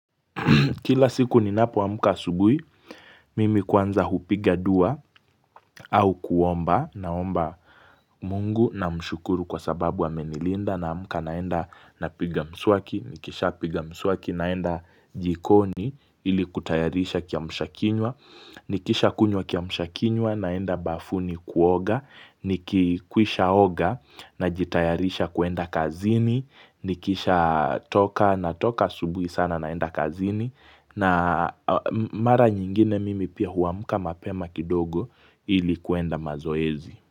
Kila siku ninapoamka asubui, mimi kwanza hupiga dua au kuomba naomba Mungu namshukuru kwa sababu amenilinda naamka naenda napiga mswaki, nikishapiga mswaki naenda jikoni ili kutayarisha kiamshakinywa, nikishakunywa kiamshakinywa naenda bafuni kuoga, nikikwishaoga najitayarisha kuenda kazini, nikishatoka natoka asubui sana naenda kazini na mara nyingine mimi pia huamka mapema kidogo ili kuenda mazoezi.